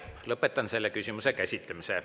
Lõpetan selle küsimuse käsitlemise.